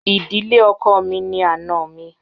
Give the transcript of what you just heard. Ìdílé ọkọ mi ni àna mi